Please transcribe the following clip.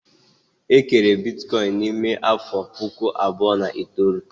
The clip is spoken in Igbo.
E kere Bitcoin n'ime afọ puku abụọ na itoolu